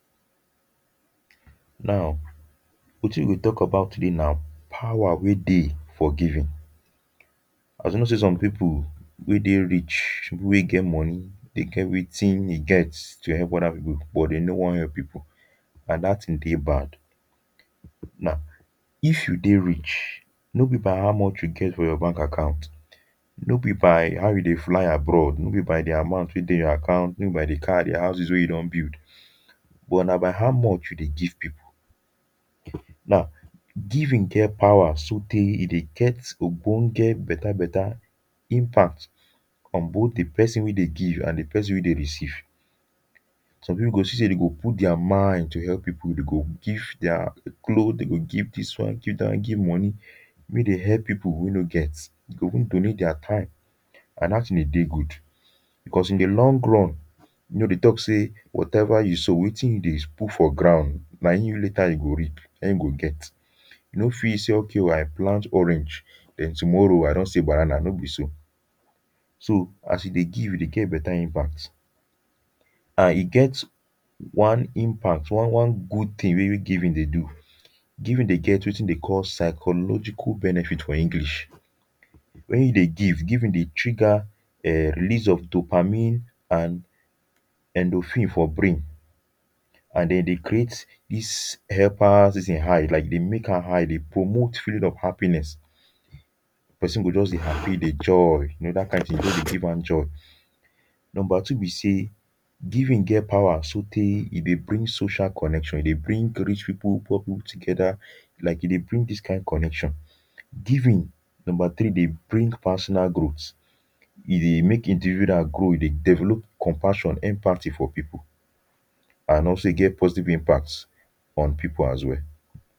now wetin we go talk about today nah power weh deh for giving assuming say some people weh deh rich people weh get money deh get wetin e get to help other people but them no wan help people and that thing deh bad now if you deh rich no be by how much you get for your bank account no be by how you deh fly abroad no be by the amount weh deh your account no be by the car the houses weh you don build but nah by how much you deh give people now giving get power so teh e deh get okponke better better impact on both the person weh deh give and the person weh deh receive some people you go see say them go put their mind to help people deh go give their cloth deh go give this one give that one give money make them help people weh no get deh go even donate their time and that thing deh deh good because in the long run you know they talk say whatever you sow wetin you deh put for grown nah in you later you go rip nah in you go get you no fit say okay o i plant orange then tomorrow i don see banana no be so so as you deh give you deh get better impact and e get one impact one one good thing weh weh giving deh do giving deh get wetin them deh call psychological benefit for english when you deh give giving deh trigger um the release of dopamine and endorphine for brain and them deh create ease hyper season high like them make am high them deh promote feeling of happines person go just deh happy deh joy you know that kind thing just deh give am joy number two be say giving get power so teh e deh bring social connection e deh bring rich people poor people together like e deh bring this kind connection giving number three deh bring personal growth e deh make individual grow e deh develop compassion empathy for people and also e get positive impact on people as well